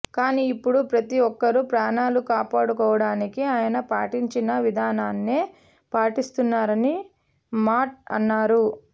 కానీ ఇప్పుడు ప్రతి ఒక్కరూ ప్రాణాలు కాపాడుకోవడానికి ఆయన పాటించిన విధానాన్నే పాటిస్తున్నారని మాట్ అన్నారు